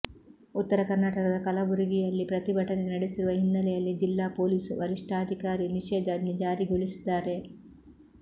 ಉತ್ತರ ಕರ್ನಾಟಕದ ಕಲಬುರುಗಿಯಲ್ಲಿ ಪ್ರತಿಭಟನೆ ನಡೆಸಿರುವ ಹಿನ್ನೆಲೆಯಲ್ಲಿ ಜಿಲ್ಲಾ ಪೊಲೀಸ್ ವರಿಷ್ಠಧಿಕಾರಿ ನಿಷೇಧಾಜ್ಞೆ ಜಾರಿಗೊಳಿಸಿದ್ದಾರೆ